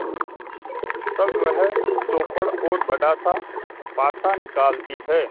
तब वह चौपड़ और बड़ासा पासा निकालती है